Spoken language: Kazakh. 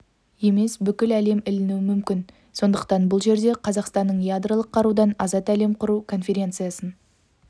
емес бүкіл әлем ілінуі мүмкін сондықтан бұл жерде қазақстанның ядролық қарудан азат әлем құру конференциясын